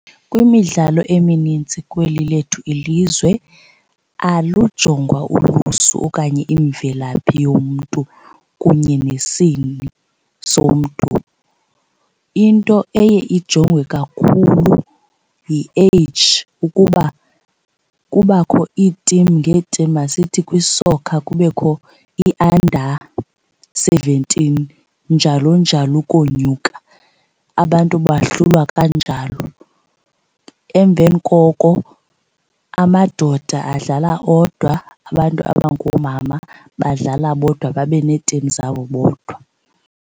Kwimidlalo emininzi kweli lethu ilizwe alujongwa ulusu okanye imvelaphi yomntu kunye nesini somntu. Into eye ijongwe kakhulu yi-age ukuba kubakho ii-team ngee-team, masithi kwi-soccer kubekho i-under seventeen njalo njalo ukonyuka, abantu bahlulwa kanjalo. Emveni koko amadoda adlala odwa, abantu abangoomama badlala bodwa babe nee-team zabo bodwa.